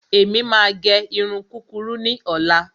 Èmi máa gẹ irun kúkurú ní ọ̀la.